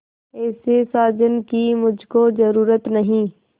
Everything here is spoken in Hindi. ऐसे साजन की मुझको जरूरत नहीं